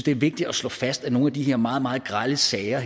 er vigtigt at slå fast at i nogle af de her meget meget grelle sager